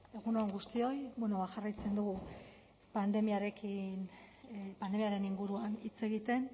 egun on guztioi jarraitzen dugu pandemiarekin pandemiaren inguruan hitz egiten